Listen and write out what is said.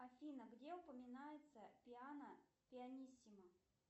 афина где упоминается пиано пианиссимо